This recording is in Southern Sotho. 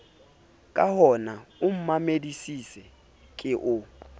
kahona o mmamedisise ke o